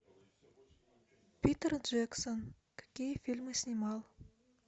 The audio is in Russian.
питер джексон какие фильмы снимал